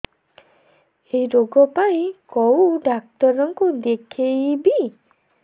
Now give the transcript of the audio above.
ଏଇ ରୋଗ ପାଇଁ କଉ ଡ଼ାକ୍ତର ଙ୍କୁ ଦେଖେଇବି